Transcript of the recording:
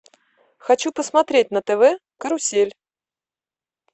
хочу посмотреть на тв карусель